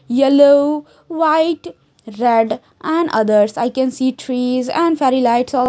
yellow white red and others I can see trees and fairy lights al--